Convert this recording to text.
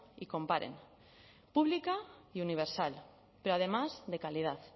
y comparen pública y universal pero además de calidad